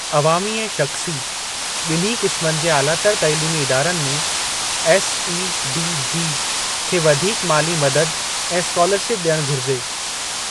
अवामी ऐं शख़्सी बि॒न्ही क़िस्मनि जे आलातर तैलीमी इदारनि में एसईडीजी खे वधीक माली मदद ऐं स्कॉलरशिप डि॒यणु घुरिजे।